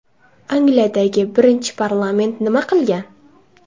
Angliyadagi birinchi parlament nima qilgan?